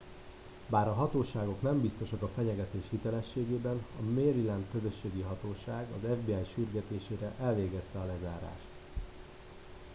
bár a hatóságok nem biztosak a fenyegetés hitelességében a maryland közlekedési hatóság az fbi sürgetésére elvégezte a lezárást